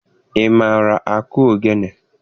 Ị maara akụ ogene?